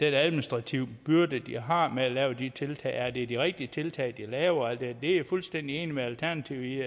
administrative byrde de har med at lave de tiltag er det de rigtige tiltag de laver og her det er jeg fuldstændig enig med alternativet i